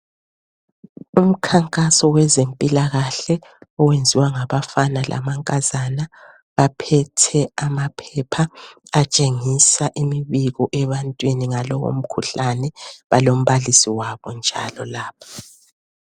Umkhankaso wezempilakahle okwenziwa ngabafana lamankazana aphethe amaphepha atshengisa imibiko ebantwini ngalowomkhuhlane. Balombalisi wabo njalo lapha.